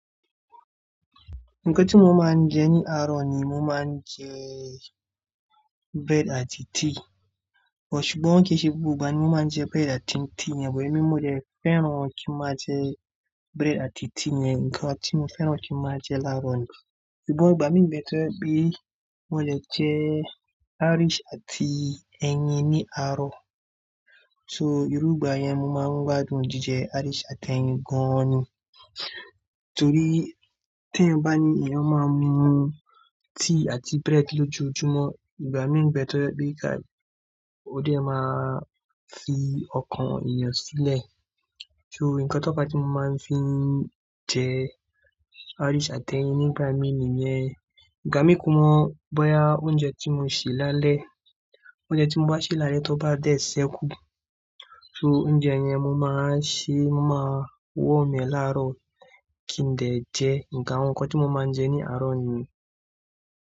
Nǹkan tí mo máa ń jẹ ní àárọ̀ ni mo máa ń jẹ bread àti tea. But ṣùgbọ́n kí se gbogbo ìgbà ni mo máa ń jẹ bread àti tea yẹn, but emi mo dè fẹ́ràn kí n máa jẹ bread àti tea yẹn, nǹkan tí mo fẹ́ràn kí n máa jẹ láàárọ̀ ni. Ṣùgbọ́n ìgbà mí ń bẹ tọ́ je pe mo lè jẹ Irish àti ẹyin ní àárọ̀. So ìrúgbà yẹn mo máa ń gbádùn jíjẹ Irish àti ẹyin gan ni. Torí tí ẹ̀eyan bá ní eeyan, máa mú mu tea àti bread lójoojúmọ́. Ìgbà mí ń bẹ tọ́ je pe ka, ó dé máa fi ọkàn èèyàn sílẹ̀. So nǹkan tó ba tí mo máa ń fi jẹ Irish àti ẹyin nígbà mí ní yẹn. Ìgbà mí kù mọ̀ bóyá oúnjẹ tí mo sè lálẹ́, oúnjẹ tí mo bá sè lálẹ́ tó bá dẹ̀ ṣẹ́ kú. So oúnjẹ yẹn mo máa ṣe, mo máa warm ee láàárọ̀ kí n dè jẹ. Nǹkan àwọn nǹkan tí mo máa ń jẹ ní àárọ̀ ni.